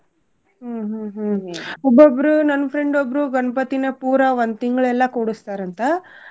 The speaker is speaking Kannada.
ಹ್ಮ್ ಹ್ಮ್ ಹ್ಮ್ ಒಬ್ಬೊಬ್ರೂ ನನ್ friend ಒಬ್ರೂ ಗಣ್ಪತಿನ ಪೂರಾ ಒಂದ್ ತಿಂಗ್ಳ ಎಲ್ಲಾ ಕೂಡುಸ್ತಾರಂತ